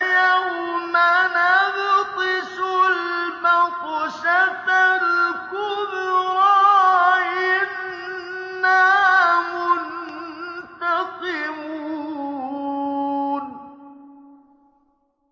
يَوْمَ نَبْطِشُ الْبَطْشَةَ الْكُبْرَىٰ إِنَّا مُنتَقِمُونَ